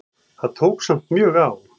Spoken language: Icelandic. Það tók samt mjög á.